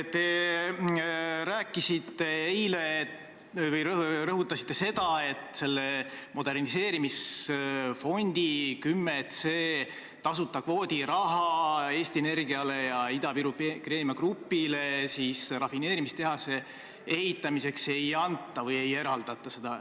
Te rõhutasite eile, et selle moderniseerimisfondi 10c tasuta kvoodi raha Eesti Energiale ja Viru Keemia Grupile rafineerimistehase ehitamiseks ei anta või seda ei eraldata.